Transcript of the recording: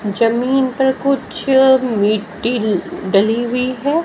जमीन पर कुछ मिट्टी डली हुई है।